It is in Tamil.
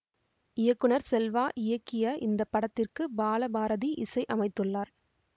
இயக்குநர் செல்வா இயக்கிய இந்த படத்திற்கு பால பாரதி இசை அமைத்துள்ளார்